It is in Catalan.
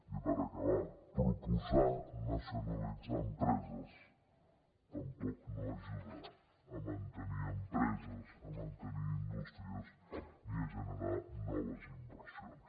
i per acabar proposar nacionalitzar empreses tampoc no ajuda a mantenir empreses a mantenir indústries ni a generar noves inversions